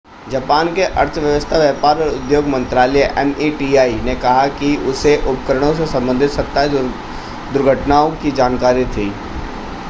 Japan के अर्थव्यवस्था व्यापार और उद्योग मंत्रालय meti ने कहा कि उसे उपकरणों से संबंधित 27 दुर्घटनाओं की जानकारी थी